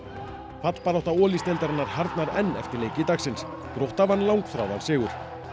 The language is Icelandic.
fallbarátta Olísdeildarinnar harðnar enn eftir leiki dagsins vann langþráðan sigur